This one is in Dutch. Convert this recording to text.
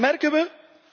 En wat merken we?